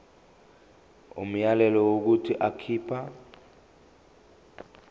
umyalelo wokuthi akhipha